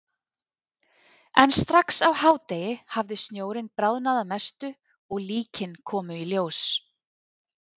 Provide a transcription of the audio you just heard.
En strax á hádegi hafði snjórinn bráðnað að mestu og líkin komu í ljós.